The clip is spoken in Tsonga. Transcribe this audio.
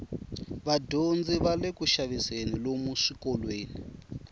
vadyondzi vale kuxaviseni lomu swikolweni